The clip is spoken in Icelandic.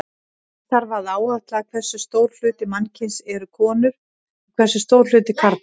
Eins þarf að áætla hversu stór hluti mannkyns eru konur og hversu stór hluti karlar.